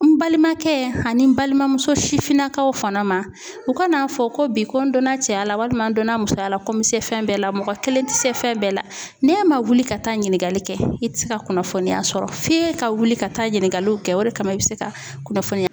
N balimakɛ ani n balimamuso sifinnakaw fana ma u ka n'a fɔ ko bi ko n donna cɛya la walima n donna musoya la ko n bɛ se fɛn bɛɛ la mɔgɔ kelen tɛ se fɛn bɛɛ la n'e man wuli ka taa ɲiniŋakali kɛ i tɛ se ka kunnafoniya sɔrɔ f'e ka wuli ka taa ɲininkaliw kɛ o de kama i bɛ se ka kunnafoniya